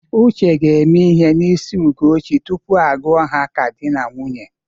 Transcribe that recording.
Uche ga-eme ihe n'isi Ugochi tupu a gụọ ha ka dị na nwunye.